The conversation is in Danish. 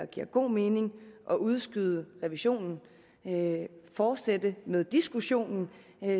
giver god mening at udskyde revisionen og fortsætte med diskussionen